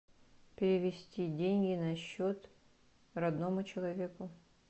перевести деньги на счет родному человеку